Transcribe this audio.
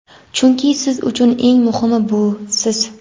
chunki siz uchun eng muhimi bu siz.